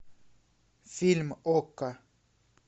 фильм окко